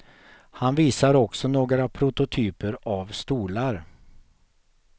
Han visar också några prototyper av stolar.